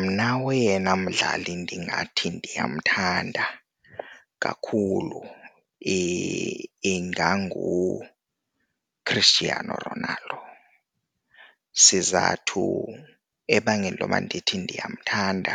Mna oyena mdlali ndingathi ndiyamthanda kakhulu inganguChristiano Ronaldo. Sizathu ebangela intoba ndithi ndiyamthanda,